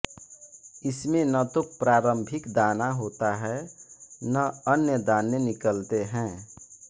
इसमें न तो प्रारंभिक दाना होता है न अन्य दाने निकलते है